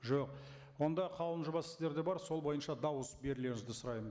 жоқ онда қаулының жобасы сіздерде бар сол бойынша дауыс берулеріңізді сұраймын